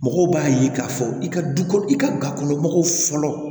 Mɔgɔw b'a ye k'a fɔ i ka du kɔnɔ i ka gakɔnɔmɔgɔw fɔlɔ